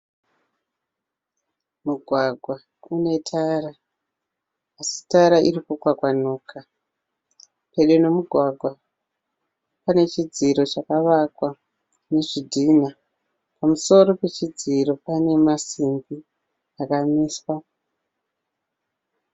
Mugwagwa unetara asi tara iri kukwakwanuka. Pedo nemugwagwa pane chidziro chakavakwa nezvidhinha. Pamusoro pechodziro pane masimbi akamiswa.